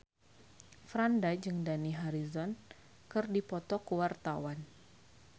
Franda jeung Dani Harrison keur dipoto ku wartawan